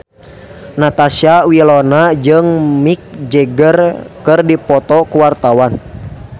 Natasha Wilona jeung Mick Jagger keur dipoto ku wartawan